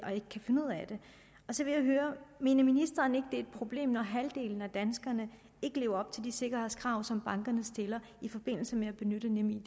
og så vil jeg høre mener ministeren ikke det er et problem når halvdelen af danskerne ikke lever op til de sikkerhedskrav som bankerne stiller i forbindelse med at benytte nemid